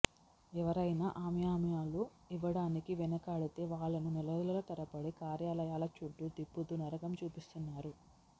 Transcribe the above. ఎవరైనా ఆమ్యామ్యాలు ఇవ్వడానికి వెనకాడితే వాళ్లను నెలల తరబడి కార్యాలయాల చుట్టూ తిప్పుతూ నరకం చూపిస్తున్నారు